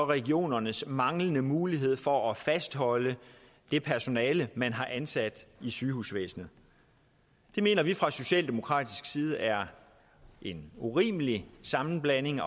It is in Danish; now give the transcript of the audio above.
regionernes manglende mulighed for at fastholde det personale man har ansat i sygehusvæsenet det mener vi fra socialdemokratisk side er en urimelig sammenblanding